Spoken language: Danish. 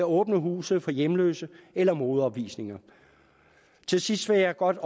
åbne huse for hjemløse eller modeopvisninger til sidst vil jeg godt